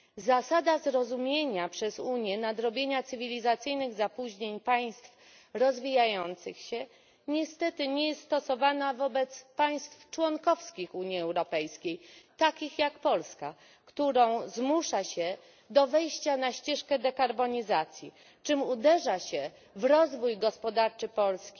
Zasada zrozumienia przez Unię potrzeby nadrobienia cywilizacyjnych zapóźnień przez państwa rozwijające się niestety nie jest stosowana wobec państw członkowskich Unii Europejskiej takich jak Polska, którą zmusza się do wejścia na ścieżkę dekarbonizacji, czym uderza się w rozwój gospodarczy Polski,